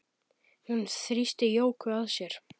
Hún þrýsti Jóku að sér.